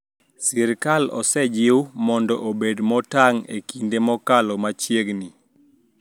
Sirikal osejiw mondo obed motang` e kinde mokalo machiegni